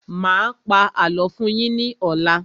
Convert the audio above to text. Mà á pa àlọ́ fún yín ní ọ̀la.